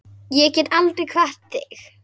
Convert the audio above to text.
Ég get aldrei kvatt þig.